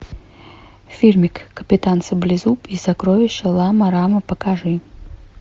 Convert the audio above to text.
фильмик капитан саблезуб и сокровища лама рама покажи